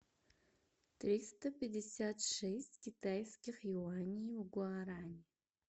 триста пятьдесят шесть китайских юаней в гуарани